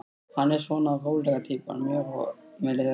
Hann er svona rólega týpan, mjór með liðað hár.